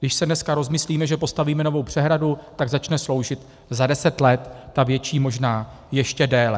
Když se dneska rozmyslíme, že postavíme novou přehradu, tak začne sloužit za deset let, ta větší možná ještě déle.